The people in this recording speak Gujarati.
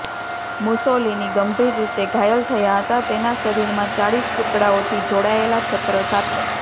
મુસોલિની ગંભીર રીતે ઘાયલ થયા હતા તેના શરીરમાં ચાળીસ ટુકડાઓથી જોડાયેલા છત્ર સાથે